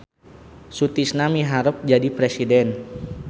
Sutisna miharep jadi presiden